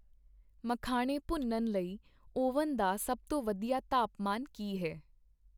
ਮਖਾਣੇ ਭੁੰਨਣ ਲਈ ਓਵਨ ਦਾ ਸਭ ਤੋਂ ਵਧੀਆ ਤਾਪਮਾਨ ਕੀ ਹੈ?